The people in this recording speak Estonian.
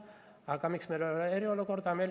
Aga miks meil ei ole eriolukorda?